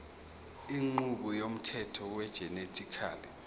inqubo yomthetho wegenetically